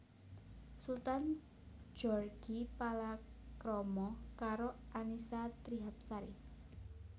Sultan Djorghi palakrama karo Annisa Trihapsari